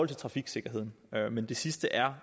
til trafiksikkerheden men det sidste er